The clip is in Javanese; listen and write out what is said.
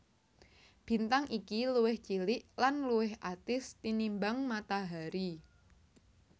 Bintang iki luwih cilik lan luwih atis tinimbang Matahari